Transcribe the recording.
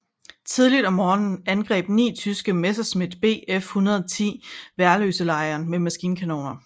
Tidligt om morgenen angreb ni tyske Messerschmitt Bf 110 Værløselejren med maskinkanoner